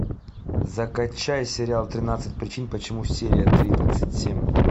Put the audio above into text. закачай сериал тринадцать причин почему серия тридцать семь